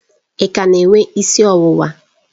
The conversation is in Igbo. Ị ka na-enwe isi ọwụwa?